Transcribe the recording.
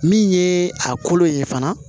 Min ye a kolo ye fana